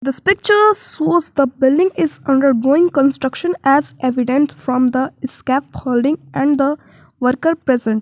this pictures was the building is undergoing construction as evidence from the escape holding and the worker present.